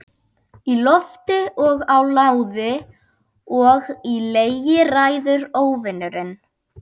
Í lofti og á láði og í legi ræður Óvinurinn.